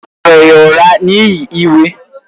O maara ya ụra n’ihi iwe.